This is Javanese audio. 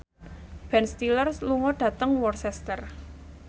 Ben Stiller lunga dhateng Worcester